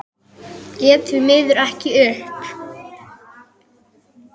Gekk því miður ekki upp.